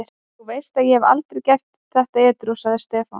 Þú veist að ég hefði aldrei gert þetta edrú, sagði Stefán.